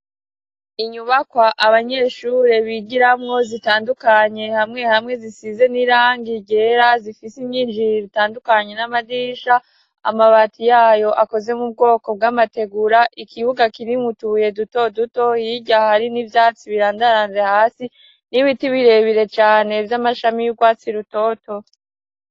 Inyubakwa abanyeshure bigiramwo zitandukanye. Hamwe hamwe zisize n'irangi ryera, zifise inyinjiriro itandukanye, n'amadirisha. Amabati yayo akoze mu bwoko bw'amategura. ikibuga kirimwo utubuye duto duto. Hirya hari n'ivyatsi birandaranze hasi, n'ibiti birebire cane vy'amashami y'urwatsi rutoto.